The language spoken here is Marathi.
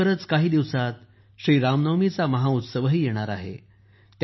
लवकरच काही दिवसांत श्री रामनवमीचा महाउत्सवही येणार आहे